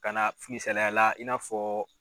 Ka na sigi salaya la i n'a fɔ